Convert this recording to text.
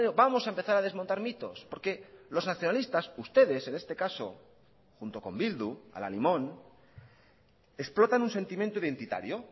vamos a empezar a desmontar mitos porque los nacionalistas ustedes en este caso junto con bildu al alimón explotan un sentimiento identitario